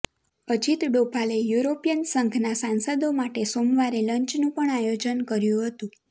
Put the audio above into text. અજીત ડોભાલે યુરોપિયન સંઘના સાંસદો માટે સોમવારે લંચનું પણ આયોજન કર્યું હતું